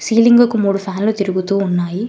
గీలింగ్ కు మూడు ఫ్యాన్లు తిరుగుతూ ఉన్నాయి.